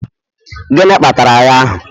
gịnị kpatara agha ahụ?